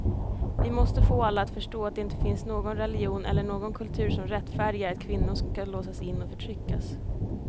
Vi måste få alla att förstå att det inte finns någon religion eller någon kultur som rättfärdigar att kvinnor ska låsas in och förtryckas.